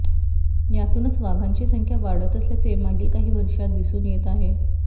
यातूनच वाघांची संख्या वाढत असल्याचे मागील काही वर्षात दिसून येत आहे